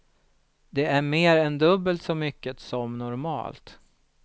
Det är mer än dubbelt så mycket som normalt.